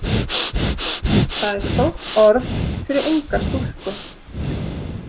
Það er stórt orð fyrir unga stúlku.